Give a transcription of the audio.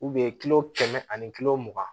kilo kɛmɛ ani kilo mugan